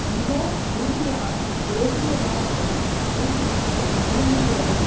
மிக உறுதியான தேசியவாதத்தையும் ஊக்குவிக்க விரும்புகிறது